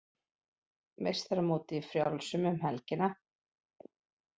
Meistaramótið í frjálsum um helgina